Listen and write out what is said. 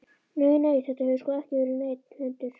Nei, nei, þetta hefur sko ekki verið neinn hundur.